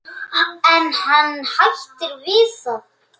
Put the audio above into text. Og stundir sínar með Halla.